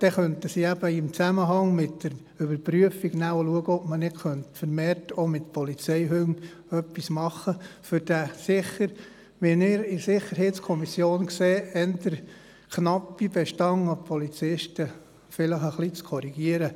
So könnte man in Zusammenhang mit der Prüfung analysieren, ob nicht vermehrt auch mit Polizeihunden gearbeitet werden kann, um den sicher eher knappen Bestand an Polizisten zu korrigieren.